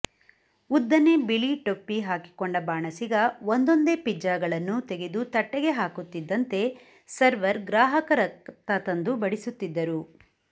ಉದ್ದನೆ ಬಿಳಿ ಟೊಪ್ಪಿ ಹಾಕಿಕೊಂಡ ಬಾಣಸಿಗ ಒಂದೊಂದೇ ಪಿಜ್ಜಾಗಳನ್ನು ತೆಗೆದು ತಟ್ಟೆಗೆ ಹಾಕುತ್ತಿದ್ದಂತೆ ಸರ್ವರ್ ಗ್ರಾಹಕರತ್ತ ತಂದು ಬಡಿಸುತ್ತಿದ್ದರು